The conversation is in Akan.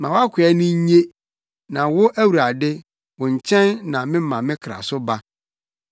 Ma wʼakoa ani nnye, na wo Awurade, wo nkyɛn na mema me kra so ba.